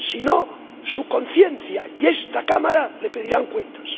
Si no, su conciencia y esta Cámara le pedirán cuentas.